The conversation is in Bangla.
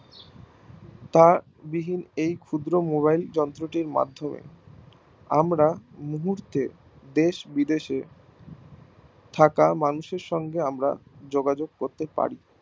তা এই ক্ষুদ্র mobile যন্ত্র তীর মাধ্যমে আমরা মুহূর্তে দেশ বিদেশে থাকা মানুষের সঙ্গে আমরা যোগাযোগ করতে পারি